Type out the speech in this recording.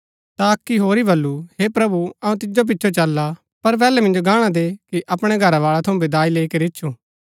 ता अक्की होरी वल्‍लु हे प्रभु अऊँ तिजो पिचो चलला पर पैहलै मिन्जो गाहणा दे कि अपणै घरावाळै थऊँ विदाई लैई करी ईच्छुं